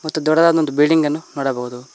ಮತ್ತು ದೊಡ್ಡದಾದ ಒಂದು ಬಿಲ್ಡಿಂಗ್ ಅನ್ನು ನೋಡಬಹುದು.